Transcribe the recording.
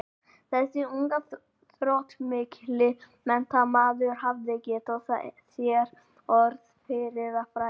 Þessi ungi og þróttmikli menntamaður hafði getið sér orð fyrir að fræða